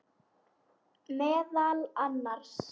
Meðal annars.